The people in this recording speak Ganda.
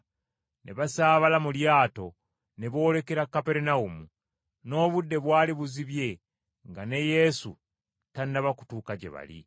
ne basaabala mu lyato ne boolekera Kaperunawumu. N’obudde bwali buzibye nga ne Yesu tannaba kutuuka gye bali.